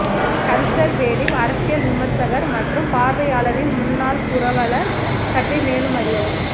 conservative அரசியல் விமர்சகர் மற்றும் பார்வையாளரின் முன்னாள் புரவலர் பற்றி மேலும் அறியவும்